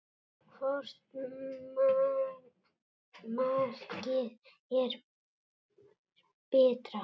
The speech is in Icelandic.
Hvort markið er betra?